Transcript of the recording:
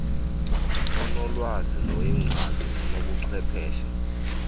onolwazi noyingcali nonobuchwepheshe